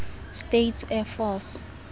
states air force